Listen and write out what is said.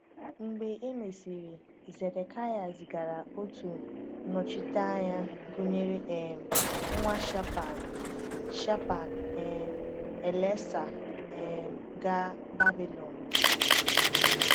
Mgbe e mesịrị, Zedekịa zigara otu nnọchiteanya gụnyere um nwa Shaphan, Shaphan, um Elasah, um gaa Babilọn.